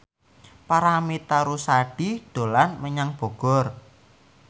Paramitha Rusady dolan menyang Bogor